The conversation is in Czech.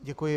Děkuji.